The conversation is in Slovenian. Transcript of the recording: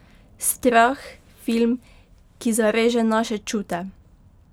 Strah, film, ki zareže naše čute!